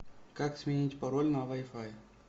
как сменить пароль на вай фай